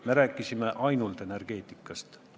Me rääkisime ainult energeetikast.